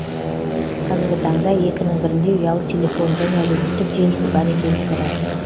қазіргі таңда екінің бірінде ұялы телефон және әлеуметтік желісі бар екендігі рас